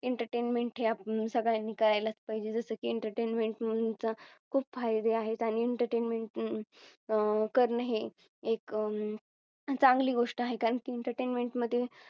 Entertainment हे आपण सगळ्यांनी करायलाच पाहिजे. जसं की Entertainment हम्म चे खूप फायदे आहेत आणि Entertainment अं करणं हे एक अं चांगली गोष्ट आहे. कारण की Entertainment मध्ये